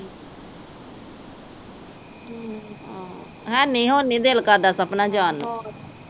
ਆਹ ਹੈ ਨੀ, ਹੂਣੀ ਦਿਲ ਕਰਦਾ ਸਪਨਾ ਜਾਣ ਨੂੰ